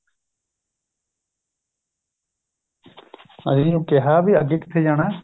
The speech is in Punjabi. ਅੱਸੀ ਉਹ ਨੂੰ ਕਿਹਾ ਅੱਗੇ ਕਿਥੇ ਜਾਣਾ